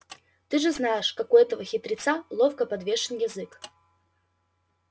ты же знаешь как у этого хитреца ловко подвешен язык